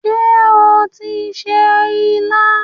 Ṣé ó tí ń se ilá?